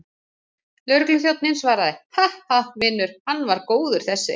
Lögregluþjónninn svaraði, Ha, ha, vinur, hann var góður þessi.